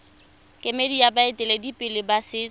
kemedi ya baeteledipele ba setso